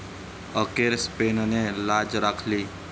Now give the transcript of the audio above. अखेर स्पेनने लाज राखली